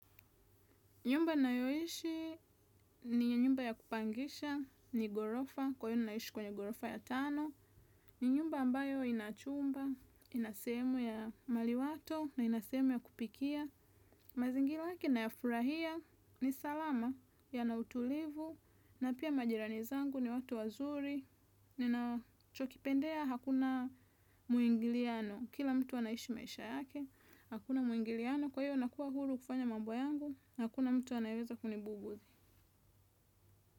Nyumba nayoishi ni nyumba ya kupangisha, ni gorofa, kwa hiyo ninaishi kwenye gorofa ya tano. Ni nyumba ambayo ina chumba, ina sehemu ya maliwato, na ina sehemu ya kupikia. Mazingira yake nayafurahia, ni salama, yana utulivu, na pia majirani zangu ni watu wazuri. Ninachokipendea, hakuna muingiliano, kila mtu anaishi maisha yake, hakuna muingiliano. Kwa hiyo nakua huru kufanya mambo yangu na hakuna mtu anayeweza kunibubuzi.